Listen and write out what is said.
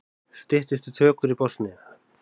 Styttist í tökur í Bosníu